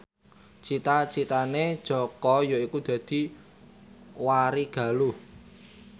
cita citane Jaka yaiku dadi warigaluh